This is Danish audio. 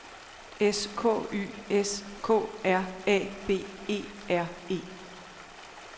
S K Y S K R A B E R E